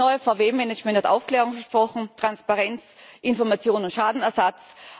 Das neue VW Management hat Aufklärung versprochen, Transparenz, Information und Schadenersatz.